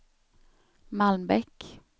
Malmbäck